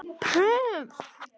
Ég talaði af mér.